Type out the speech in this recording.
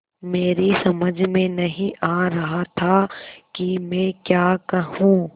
मेरी समझ में नहीं आ रहा था कि मैं क्या कहूँ